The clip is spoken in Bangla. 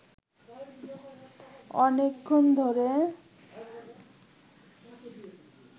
অনেকক্ষণ ধরে